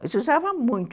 Mas usava muito.